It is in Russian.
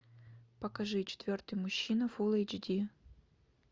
покажи четвертый мужчина фул эйч ди